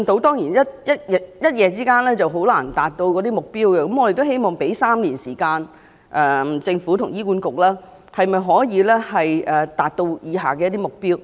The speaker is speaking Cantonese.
當然一夜之間難以達到建議的目標，而我們希望給予政府和醫管局3年時間，看看他們能否達到以下的目標。